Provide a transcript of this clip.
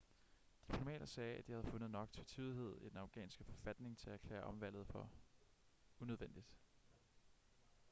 diplomater sagde at de havde fundet nok tvetydighed i den afghanske forfatning til at erklære omvalget for unødvendigt